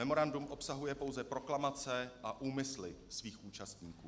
Memorandum obsahuje pouze proklamace a úmysly svých účastníků.